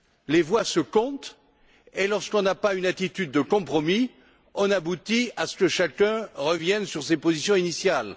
Les voix se comptent, et lorsqu'on n'a pas une attitude de compromis, on aboutit à ce que chacun revienne sur ses positions initiales.